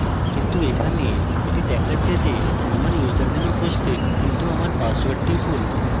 কিন্তু এখানে এটি দেখাচ্ছে যে আমার username উপস্থিত কিন্তু আমার পাসওয়ার্ডটি ভুল